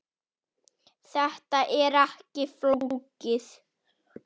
Þetta er ekki flókið